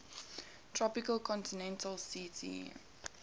tropical continental ct